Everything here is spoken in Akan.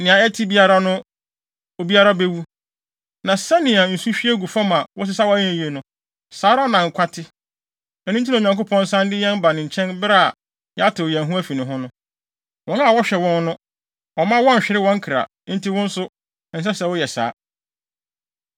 Nea ɛte biara no, obiara bewu. Na sɛnea nsu hwie gu fam a wosesaw a ɛnyɛ yiye no, saa ara na nkwa te. Ɛno nti na Onyankopɔn san de yɛn ba ne nkyɛn bere a yɛatew yɛn ho afi ne ho no. Wɔn a ɔhwɛ wɔn no, ɔmma wɔnnhwere wɔn kra; enti wo nso, ɛnsɛ sɛ woyɛ saa.